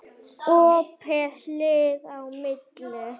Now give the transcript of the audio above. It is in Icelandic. Opið hlið á milli.